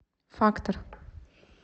фактор